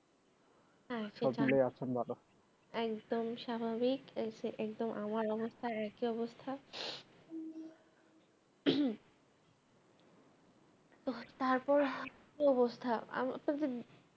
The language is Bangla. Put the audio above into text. একদম স্বাভাবিক এইযে এইতো আমার অবস্থা একই অবস্থা তারপর কি অবস্থা